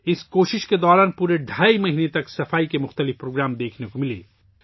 اس کوشش کے دوران پورے ڈھائی ماہ تک صفائی کے کئی پروگرام دیکھے گئے